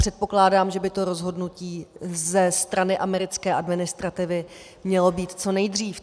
Předpokládám, že by to rozhodnutí ze strany americké administrativy mělo být co nejdřív.